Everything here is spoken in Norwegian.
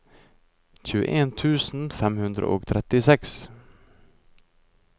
tjueen tusen fem hundre og trettiseks